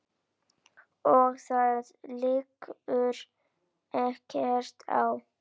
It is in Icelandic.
Og það liggur ekkert á.